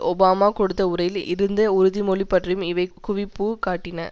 Obama கொடுத்த உரையில் இருந்த உறுதிமொழி பற்றியும் இவை குவிப்பு காட்டின